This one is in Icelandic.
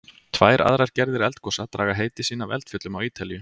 Tvær aðrar gerðir eldgosa draga heiti sín af eldfjöllum á Ítalíu.